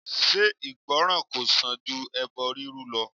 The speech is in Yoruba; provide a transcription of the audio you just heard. Ṣé ìgbọ́ràn kò sàn ju ẹbọ rírú lọ?